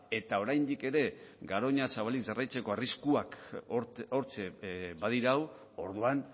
eta oraindik ere garoña zabalik jarraitzeko arriskuak hortxe badirau orduan